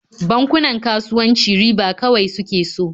Bankunan kasuwanci riba kawai suke so.